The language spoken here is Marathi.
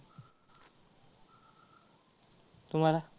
तुम्हाला?